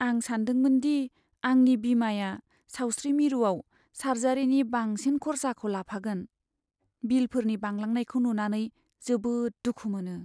आं सानदोंमोनदि आंनि बीमाया सावस्रि मिरुआव सार्जारिनि बांसिन खरसाखौ लाफागोन। बिलफोरनि बांलांनायखौ नुनानै जोबोद दुखु मोनो।